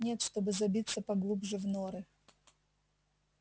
нет чтобы забиться поглубже в норы